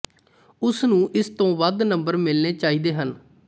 ਉਸ ਨੂੰ ਇਸ ਤੋਂ ਵੱਧ ਨੰਬਰ ਮਿਲਣੇ ਚਾਹੀਦੇ ਹਨ